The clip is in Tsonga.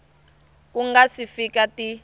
ku nga si fika ti